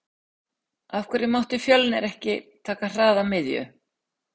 Af hverju mátti Fjölnir ekki taka hraða miðju?